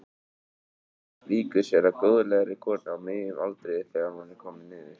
Víkur sér að góðlegri konu á miðjum aldri þegar hún er komin niður.